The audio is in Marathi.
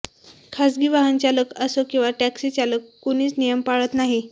खासगी वाहनचालक असो किंवा टॅक्सीचालक कुणीच नियम पाळत नाही